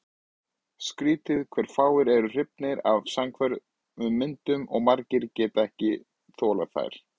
Skrýtið hve fáir eru hrifnir af samhverfum myndum og margir geta ekki þolað þær.